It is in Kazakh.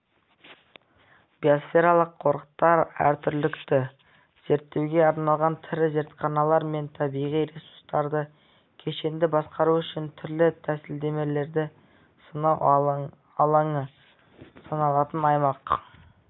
биосфералық қорықтар әртүрлілікті зерттеуге арналған тірі зертханалар мен табиғи ресурстарды кешенді басқару үшін түрлі тәсілдемелерді сынау алаңы саналатын аймақ